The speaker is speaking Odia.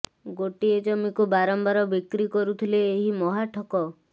ଗୋଟିଏ ଜମିକୁ ବାରମ୍ବାର ବିକ୍ରି କରୁଥିଲେ ଏହି ମହା ଠକ